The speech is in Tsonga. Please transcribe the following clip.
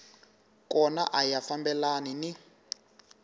kona a ya fambelani ni